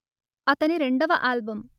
అతని రెండవ ఆల్బం